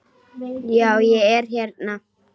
Já, ég er hérna.